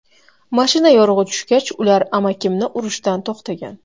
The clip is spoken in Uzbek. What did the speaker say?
Mashina yorug‘i tushgach, ular amakimni urishdan to‘xtagan.